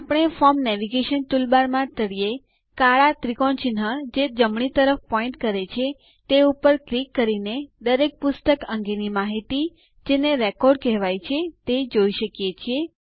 આપણે form navigation toolbar માં તળિયે કાળા ત્રિકોણ ચિહ્ન જે જમણી તરફ પોઈન્ટ કરે છે તે પર ક્લિક કરીને દરેક પુસ્તક અંગેની માહિતી જેને રેકોડ કહેવાય છે તે જોઈ શકીએ છીએ